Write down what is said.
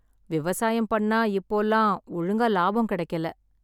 விவசாயம் பண்ணா இப்போலாம், ஒழுங்கா லாபம் கெடைக்கல்ல.